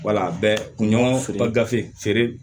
Wala a bɛ kunɲɔgɔn feere bafe feere